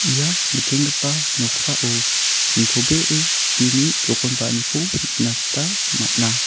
ia nikenggipa noksao nitobee chini jokonba·aniko nikna gita man·a.